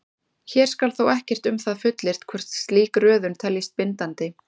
Hér skal þó ekkert um það fullyrt hvort slík röðun teljist bindandi.